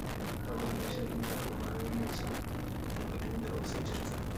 fadlan ii sheeg inta aad u malaynayso in Odinga uu sii jiri doono